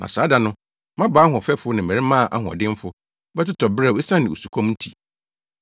“Na saa da no “mmabaa ahoɔfɛfo ne mmarimaa ahoɔdenfo bɛtotɔ beraw esiane osukɔm nti.